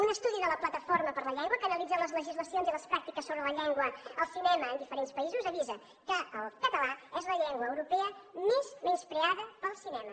un estudi de la plataforma per la llengua que analitza les legislacions i les pràctiques sobre la llengua al cinema en diferents països avisa que el català és la llengua europea més menyspreada pel cinema